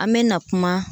An mɛna kuma